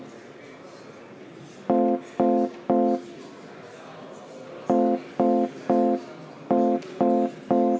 Istungi lõpp kell 11.24.